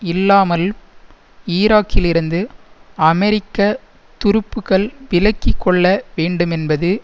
இல்லாமல் ஈராக்கிலிருந்து அமெரிக்க துருப்புக்கள் விலக்கி கொள்ள வேண்டுமென்பது